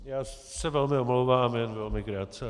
Já se velmi omlouvám, jen velmi krátce.